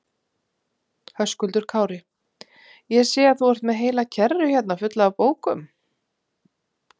Höskuldur Kári: Ég sé að þú ert með heila kerru hérna fulla af bókum?